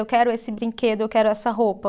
Eu quero esse brinquedo, eu quero essa roupa.